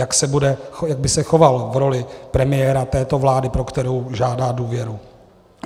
Jak by se choval v roli premiéra této vlády, pro kterou žádá důvěru?